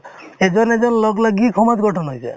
এজন এজন লগ লাগি সমাজ গঠন হৈ যায়